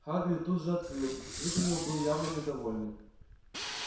хагрид тут же открыл вид у него был явно недовольный